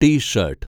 tea shirt